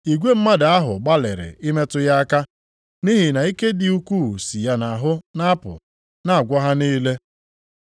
Igwe mmadụ ahụ gbalịrị ịmetụ ya aka, nʼihi na ike dị ukwuu si ya nʼahụ na-apụ na-agwọ ha niile.